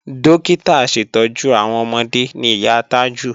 Dókítà aṣètọ́jú àwọn ọmọde ni ìyá Tájù